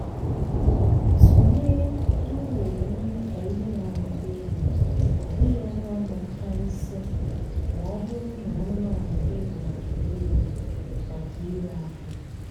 tụlee iwere nri ka ihe na-amụta ego ọ bụghị ọnụ ahịa karịsịa ma ọ bụrụ na anụmanụ gị bụ maka ire maka ire ahịa.